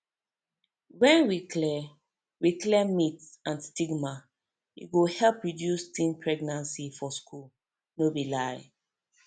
when we clear we clear myths and stigma e go help reduce teen pregnancy for schools no be lie